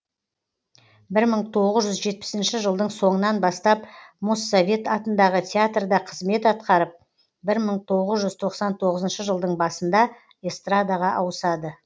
бір мың тоғыз жүз жетпісінші жылдың соңынан бастап моссовет атындағы театрда қызмет атқарып бір мың тоғыз жүз тоқсан тоғызыншы жылдың басында эстрадаға ауысады